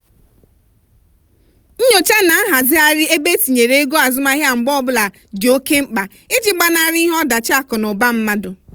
nyocha na nghazigharị ebe etinyere ego azụmahịa mgbe ọbụla dị oke mkpa iji gbanarị ihe ọdachi akụ na ụba mmadụ.